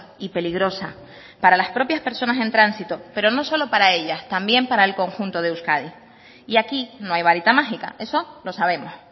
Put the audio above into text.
y peligrosa para las propias personas en tránsito pero no solo para ellas también para el conjunto de euskadi y aquí no hay varita mágica eso lo sabemos